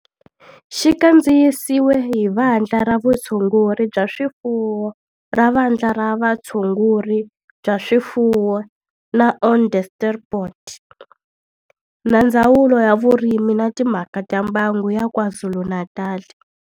Xi kandziyisiwe hi Vandla ra Vutshunguri bya swifuwo ra Vandla ra Vutshunguri bya swifuwo ra Onderstepoort na Ndzawulo ya Vurimi na Timhaka ta Mbango ya KwaZulu-Natal.